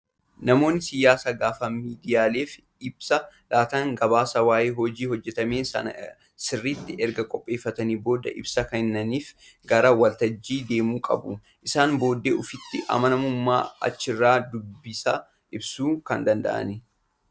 Namoonni siyaasaa gaafa miidiyaaleef ibsa laatan gabaasa waayee hojii hojjatamee Sanaa sirriitti erga qopheeffatanii booddee ibsa kenniif gara waltajjii deemuu qabu. Isaan booddee ofitti amanamummaan achirraa dubbisaa ibsuun kan danda'anidha